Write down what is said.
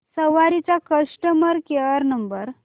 सवारी चा customer care number